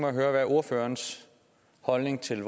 at høre ordførerens holdning til